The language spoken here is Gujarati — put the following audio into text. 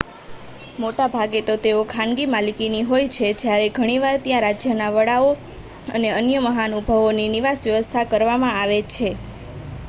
મોટાભાગે તો તેઓ ખાનગી માલિકીની હોય છે જયારે ઘણીવાર ત્યાં રાજ્યના વડાઓ અને અન્ય મહાનુભાવોની નિવાસ-વ્યવસ્થા કરવામાં આવે છે